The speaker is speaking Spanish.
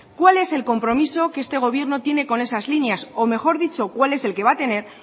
cuál es el compromiso que este gobierno tiene con esas líneas o mejor dicho cuál es el que va a tener